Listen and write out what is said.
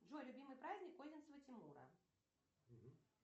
джой любимый праздник одинцева тимура